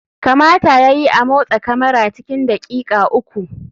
Kamata ya yi a motsa kamara cikin daƙiƙa uku.